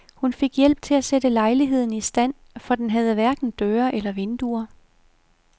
Hun fik hjælp til at sætte lejligheden i stand, for den havde hverken døre eller vinduer.